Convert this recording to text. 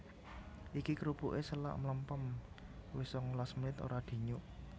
Iki krupuke selak mlempem wis sangalas menit ora dinyuk